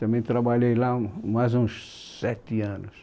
Também trabalhei lá um, mais uns sete anos.